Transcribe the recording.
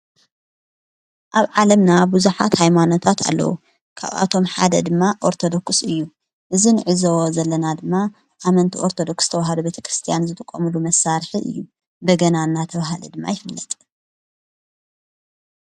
ኣብ ዓለምና ብዙኃት ኣይማኖታት ኣለዉ ካብኣቶም ሓደ ድማ ኦርተዶክስ እዩ እዝ ንዕዘዎ ዘለና ድማ ኣመንቲ ኦርተዶክስ ተዉሃዶ ቤተ ክርስቲያን ዘትቖምሉ መሣርሕ እዩ በገና ና ተውሃለ ድማ ኣይፍነጥ።